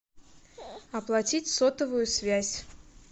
оплатить сотовую связь